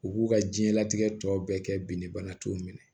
U b'u ka diɲɛlatigɛ tɔ bɛɛ kɛ binni bana t'o minɛ